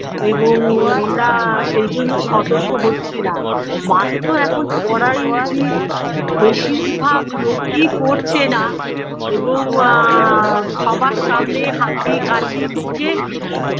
এবং আমরা সেইজন্য সতর্ক হচ্ছিনা mask তো এখন পড়াই উচিত বেশিরভাগ লোকই পড়ছে না এবং আ সবার সামনে হাঁচি কাশি মুখে